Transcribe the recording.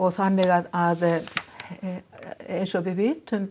þannig að eins og við vitum